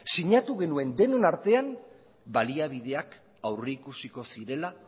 sinatu genuen denon artean baliabideak aurrikusiko zirela